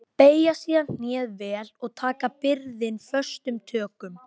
Beygja síðan hné vel og taka byrðina föstum tökum.